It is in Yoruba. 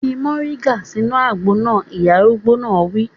Fi moringa sínú àgbo náà! Ìyá arúgbó náà wí.